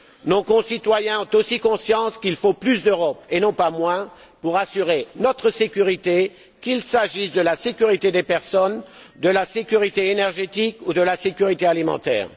Nos concitoyens ont aussi conscience qu'il faut plus d'Europe, et non pas moins, pour assurer notre sécurité, qu'il s'agisse de la sécurité des personnes, de la sécurité énergétique ou de la sécurité alimentaire.